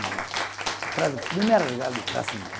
Mamãe, traz o primeiro lugar de classe